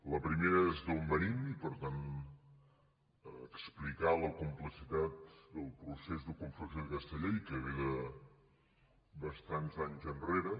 el primer és d’on venim i per tant explicar la complexitat del procés de confecció d’aquesta llei que ve de bastants anys enrere